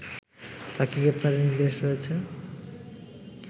তাকে গ্রেফতারের নির্দেশ রয়েছে